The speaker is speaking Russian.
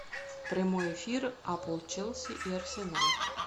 прямой эфир апл челси и арсенал